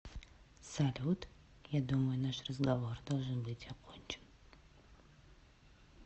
салют я думаю наш разговор должен быть окончен